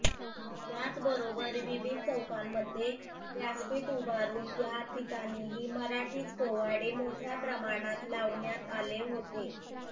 याचबरोबर विविध चौकांमध्ये व्यासपीठ उभारून त्या ठिकाणीही मराठीच पोवाडे मोठय़ा प्रमाणात लावण्यात आले होते